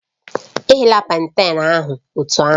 Eghela planten ahụ otú ahụ